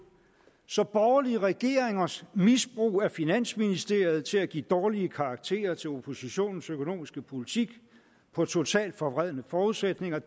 så borgerlige regeringers misbrug af finansministeriet til at give dårlige karakterer til oppositionens økonomiske politik på totalt forvredne forudsætninger